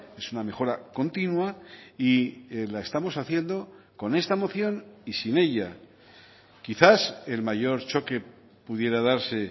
es una mejora continua y la estamos haciendo con esta moción y sin ella quizás el mayor choque pudiera darse